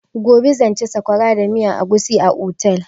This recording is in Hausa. Gobe zan ci sakwara da miyan agushi a otel.